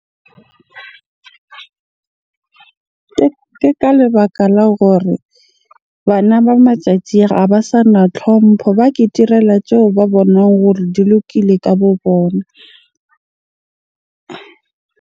Ke ka lebaka la hore bana ba matjatji a, ha ba sana tlhompho. Ba ke tirela tseo ba bonang hore di lokile ka bo bona.